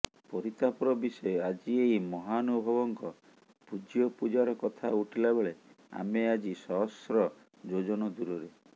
ପରିତାପର ବିଷୟ ଆଜି ଏହି ମହାନୁଭବଙ୍କ ପୂଜ୍ୟପୂଜାର କଥା ଉଠିଲା ବେଳେ ଆମେ ଆଜି ସହସ୍ର ଯୋଜନ ଦୂରରେ